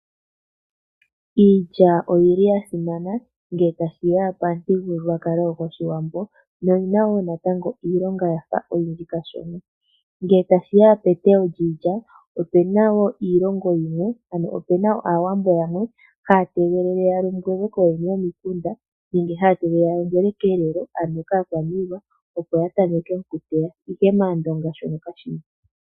Iilya oyi li ya simana ngele tashi ya pamuthigululwakalo gwOshiwambo noyi na wo natango iilonga ya fa oyindji kashona. Ngele tashi ya peteyo lyiilya, ope na wo iilongo yimwe ano ope na Aawambo yamwe haa tegelele ya lombwelwe kooyene yomikunda nenge haa tegelele ya lombwelwe kelelo ano kaakwaniilwa opo ya tameke okuteya, ihe mAandonga mono kashi mo.